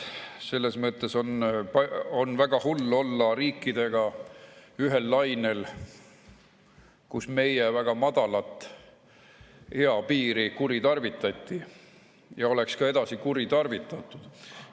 Selles mõttes on väga hull olla ühel lainel riikidega, kus meie väga madalat eapiiri kuritarvitati ja oleks ka edasi kuritarvitatud.